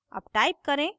अब type करें: